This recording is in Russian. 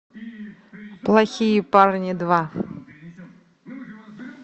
плохие парни два